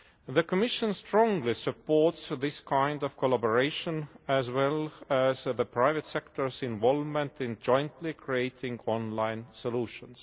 The Commission strongly supports this kind of collaboration as well as the private sector's involvement in jointly creating online solutions.